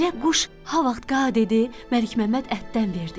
Elə quş ha vaxt qa dedi, Məlik Məmməd ətdən verdi.